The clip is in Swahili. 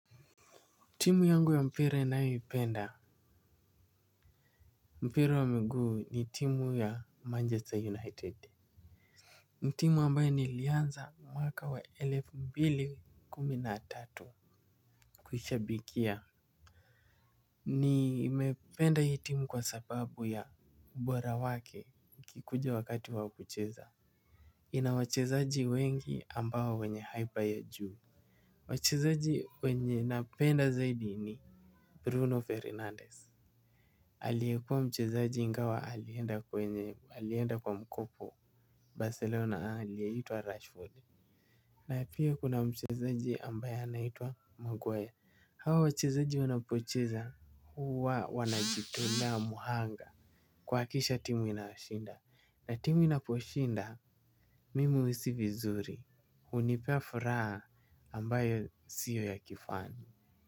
Timu yangu ya mpira ninayoipenda. Mpira wa mguu ni timu ya Manchester United. Timu ambayo nilianza mwaka wa elfu mbili kumi na tatu. Kuishabikia nimependa hii timu kwa sababu ya ubora wake ikikuja wakati wa kucheza. Ina wachezaji wengi ambao wenye haipa ya juu. Wachezaji wenye napenda zaidi ni Bruno Fernandez. Aliyekuwa mchezaji ingawa alienda kwenye alienda kwa mkopo Barcelona aliyeitwa Rashford Na pia kuna mchezaji ambaye anaitwa Muguwe hawa wachezaji wanapocheza huwa wanajitolea mhanga kuhakisha timu inashinda na timu inaposhinda mimi huhisii vizuri hunipea furaha ambayo sio ya kifani.